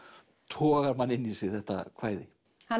togar mann inn í sig þetta kvæði hann